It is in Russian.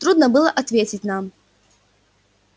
трудно было ответить нам